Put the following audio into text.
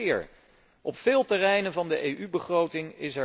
En ik citeer Op veel terreinen van de EU begroting